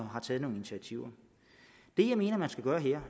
har taget nogle initiativer det jeg mener man skal gøre her